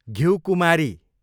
घिउकुमारी